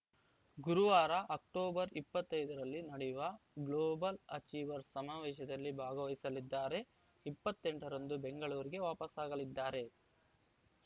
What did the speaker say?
ಗುರುವಾರ ಅಕ್ಟೋಬರ್ ಇಪ್ಪತ್ತ್ ಐದುಅಲ್ಲಿ ನಡೆಯುವ ಗ್ಲೋಬಲ್‌ ಅಚೀವರ್ಸ್‌ ಸಮಾವೇಶದಲ್ಲಿ ಭಾಗವಹಿಸಲಿದ್ದಾರೆಇಪ್ಪತ್ತೆಂಟ ರಂದು ಬೆಂಗಳೂರಿಗೆ ವಾಪಸಾಗಲಿದ್ದಾರೆ